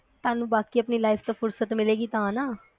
ਤੁਹਾਨੂੰ ਬਾਕੀ ਆਪਣੀ life ਤੋ ਫੁਰਸਤ ਮਿਲੇਗੀ ਤਾਂ ਨਾ